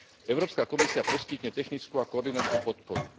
Európska komisia poskytne technickú a koordinačnú podporu.